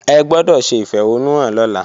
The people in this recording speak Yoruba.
Ẹ gbọ́dọ̀ ṣe ìfẹ̀hónúhàn lọ́la!